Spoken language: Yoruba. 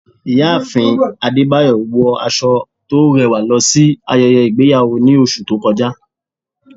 ìyáàfín adébáyọ wọ aso to rẹwa losí ayéyé igbeyawo ní oṣù to kọjá